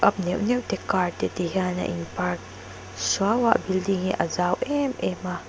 neuh neuh te car te ti hian a in park suau a a building hi a zau em em a.